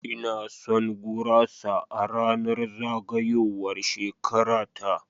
Ina son gurasa a ranar zagayowar shekara ta.